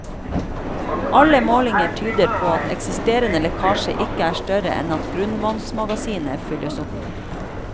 Alle målinger tyder på at eksisterende lekkasje ikke er større enn at grunnvannsmagasinet fylles opp.